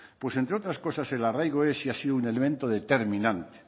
pues entre otras cosas el arraigo es y ha sido un elemento determinante